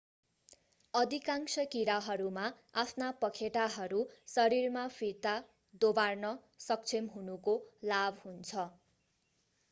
अधिकांश कीराहरूमा आफ्ना पखेटाहरू शरीरमा फिर्ता दोबार्न सक्षम हुनुको लाभ हुन्छ